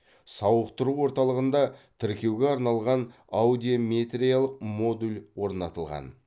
сауықтыру орталығында тіркеуге арналған аудиометриялық модуль орнатылған